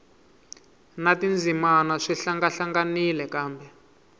na tindzimana swi hlangahlanganile kambe